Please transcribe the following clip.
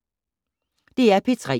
DR P3